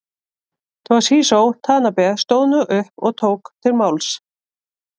Toshizo Tanabe stóð nú upp og tók til máls.